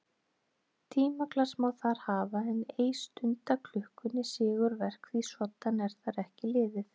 Tímaglas má þar hafa en ei stundaklukku né sigurverk því svoddan er þar ekki liðið.